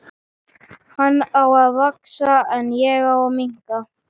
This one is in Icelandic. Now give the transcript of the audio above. Hann á að vaxa, en ég að minnka.